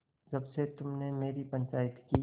जब से तुमने मेरी पंचायत की